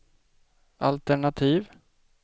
altenativ